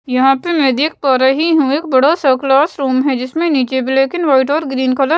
यहाँ पे मैं देख पा रही हूँ एक बड़ा सा क्लास रूम है जिसमें नीचे ब्लैक एंड वाइट और ग्रीन कलर --